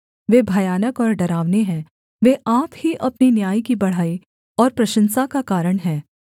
वे भयानक और डरावने हैं वे आप ही अपने न्याय की बड़ाई और प्रशंसा का कारण हैं